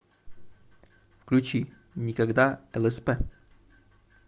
включи никогда лсп